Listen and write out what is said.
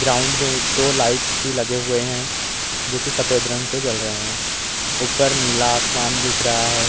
Ground में दो lights भी लगे हुए हैं जोकि सफेद रंग के जल रहे हैं। ऊपर नीला आसमान दिखा रहा है।